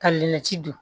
Ka lɛ ci don